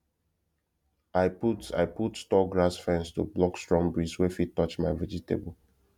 i put i put tall grass fence to block strong breeze wey fit touch my vegetable